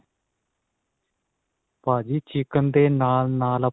ਭਾਜੀ chicken ਦੇ ਨਾਲ ਨਾਲ